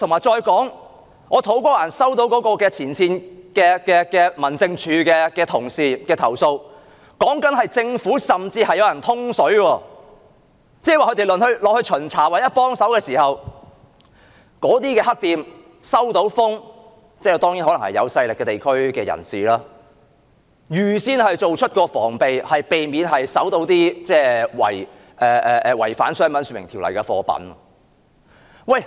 再者，我收到土瓜灣民政事務處前線員工的投訴，指當他們突擊巡查或到場提供協助時，有人通報——當然可能是由地區有勢力的人士通報——令那些黑店預先作出防備，避免被搜出違反《商品說明條例》的貨品。